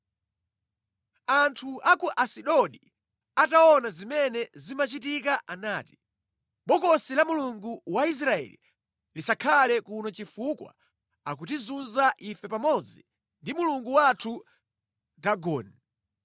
Anthu a ku Asidodi ataona zimene zimachitika anati, “Bokosi la Mulungu wa Israeli lisakhale kuno chifukwa akutizunza ife pamodzi ndi mulungu wathu Dagoni.”